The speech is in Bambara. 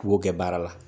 K'u kɛ baara la